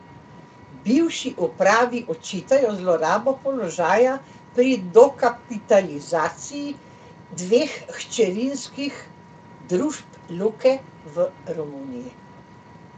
Bivši upravi očitajo zlorabo položaja pri dokapitalizaciji dveh hčerinskih družb Luke v Romuniji.